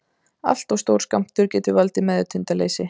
allt of stór skammtur getur valdið meðvitundarleysi